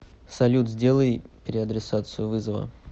салют сделай переадресацию вызова